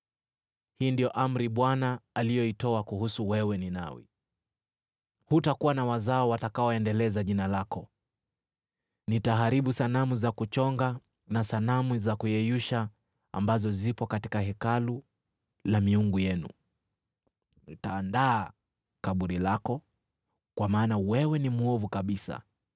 Hii ndiyo amri Bwana aliyoitoa kukuhusu wewe, Ninawi: “Hutakuwa na wazao watakaoendeleza jina lako. Nitaharibu sanamu za kuchonga na sanamu za kuyeyusha ambazo zipo katika hekalu la miungu yenu. Nitaandaa kaburi lako, kwa maana wewe ni mwovu kabisa.”